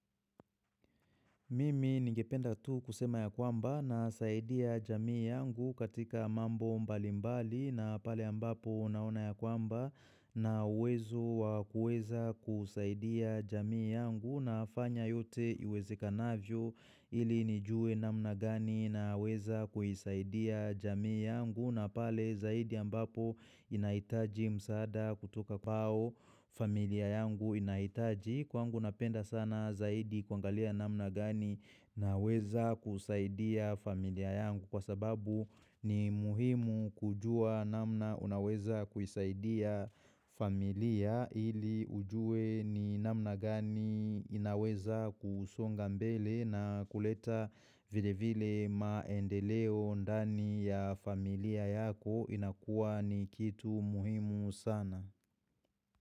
Mimi ningependa tu kusema ya kwamba nasaidia jamii yangu katika mambo mbali mbali na pale ambapo naona ya kwamba na uwezo wa kuweza kusaidia jamii yangu na fanya yote iwezekanavyo ili nijue namna gani na uweza kuhisaidia jamii yangu na pale zaidi ambapo inaitaji msada kutuka kwao familia yangu inahitaji. Kwangu napenda sana zaidi kwangalia namna gani naweza kusaidia familia yangu Kwa sababu ni muhimu kujua namna unaweza kusaidia familia ili ujue ni namna gani inaweza kusonga mbele na kuleta vile vile maendeleo ndani ya familia yako inakua ni kitu muhimu sana.